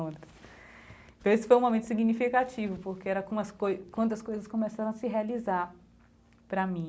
Então, esse foi um momento significativo, porque era como as coisas quando as coisas começaram a se realizar para mim.